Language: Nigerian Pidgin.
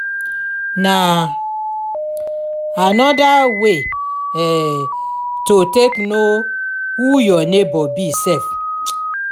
na um anoda way um to take no who yur neibor be sef um